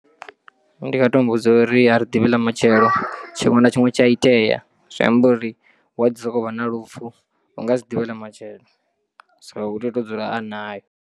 Ndi nga to muvhudza uri a ri ḓivhi ḽa matshelo tshiṅwe na tshiṅwe tshi a itea zwi amba uri hu a ḓi sokou vha na ḽufu unga si ḓivhe ḽa matshelo so u tea u to dzula a nayo.